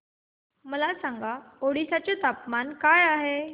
मला सांगा ओडिशा चे तापमान काय आहे